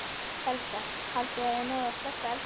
Helga: Haldið þið að þið náið að slökkva eldinn?